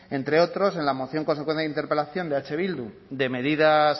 entre otros en la moción consecuencia de interpelación de eh bildu de medidas